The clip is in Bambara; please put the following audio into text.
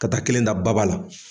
Ka taa kelen da baba la.